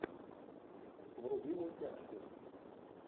вруби мультяшку